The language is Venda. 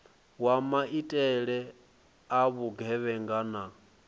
wa maitele a vhugevhenga na